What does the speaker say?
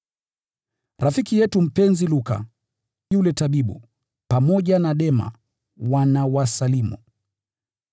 Rafiki yetu mpenzi Luka yule tabibu, pamoja na Dema, wanawasalimu.